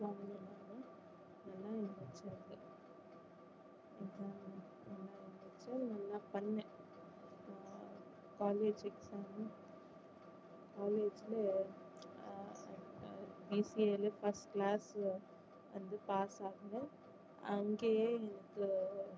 நான் பண்ணேன் college exam college ல ஆஹ் BCA ல first class ல வந்து pass ஆனேன் அங்கேயே